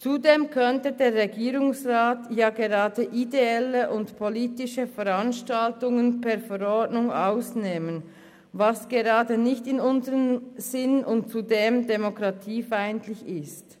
Zudem könnte der Regierungsrat ja gerade ideelle und politische Veranstaltungen per Verordnung ausklammern, was gerade nicht in unserem Sinn und zudem demokratiefeindlich ist.